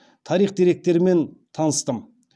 тарих деректерімен таныстым